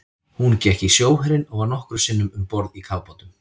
Hún gekk í sjóherinn og var nokkrum sinnum um borð í kafbátum.